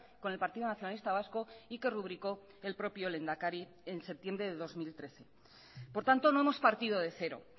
con el partido nacionalista vasco y que rubricó el propio lehendakari en septiembre de dos mil trece por tanto no hemos partido de cero